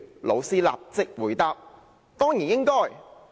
'老師立即回答：'當然應該。